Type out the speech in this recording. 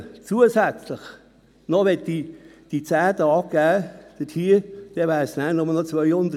Wollte man zusätzlich die vorgesehenen 10 Ausgleichstage gewähren, verblieben nur noch 210 Arbeitstage.